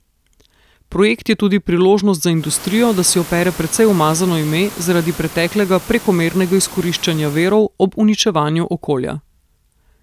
Projekt je tudi priložnost za industrijo, da si opere precej umazano ime zaradi preteklega prekomernega izkoriščanja virov ob uničevanju okolja.